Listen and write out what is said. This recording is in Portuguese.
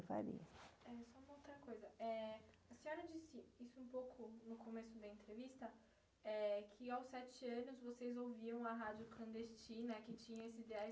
Faria. Eh, só uma outra coisa, eh... A senhora disse isso um pouco no começo da entrevista, eh, que aos sete anos vocês ouviam a rádio clandestina, que tinha esses ideais